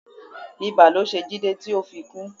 Ibà ló ṣe Jide ti o fi kú